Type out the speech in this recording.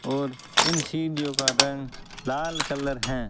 और इन सीढ़ीओ का रंग लाल कलर हैं।